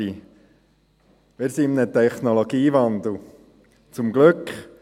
Wir befinden uns in einem Technologiewandel – zum Glück.